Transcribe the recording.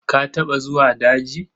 Ka taɓa zuwa daji?